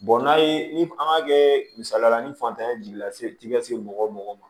n'a ye ni an ka kɛ misaliyala ni fatanya jiginna se ka se mɔgɔ o mɔgɔ ma